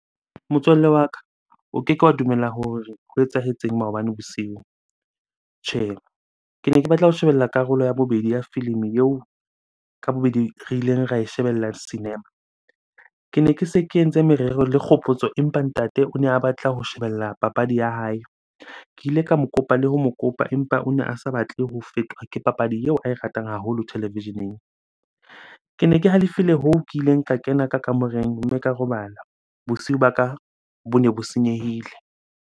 Motswalle wa ka, o keke wa dumela hore ho etsahetseng maobane bosiu. Tjhe, kene ke batla ho shebella karolo ya bobedi ya filimi eo ka bobedi re ileng ra e shebella cinema. Kene ke se ke entse merero le Kgopotso empa ntate o ne a batla ho shebella papadi ya hae. Ke ile ka mo kopa le ho mo kopa empa o ne a sa batle ho fetwa ke papadi eo ae ratang haholo televisheneng. Kene ke halefile hoo ke ileng ka kena ka kamoreng mme ka robala. Bosiu ba ka bone bo senyehile.